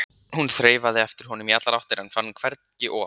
Hún þreifaði eftir honum í allar áttir en fann hvergi op.